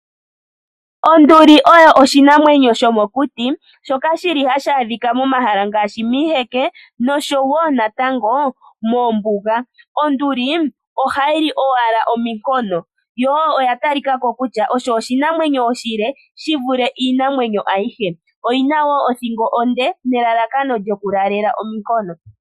Onduli oyo oshinamwenyo shomokuti shoka hashi adhika momahala ngaashi miiheke nomithitu. Onduli ohayi li omikono, nokunapa komano nenge omiti dhontumba. Oya tali kako onga oshinamwenyo oshile molwa othingo yawo ndjoka.